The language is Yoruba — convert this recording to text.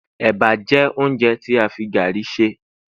eba jé ounjẹ ti a fi garri ṣe